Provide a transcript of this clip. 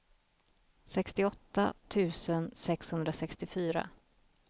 sextioåtta tusen sexhundrasextiofyra